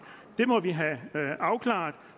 det må vi have afklaret